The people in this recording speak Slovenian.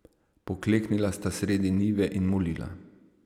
Pokleknila sta sredi njive in molila.